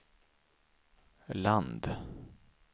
land